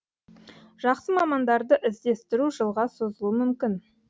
жақсы мамандарды іздестіру жылға созылуы мүмкін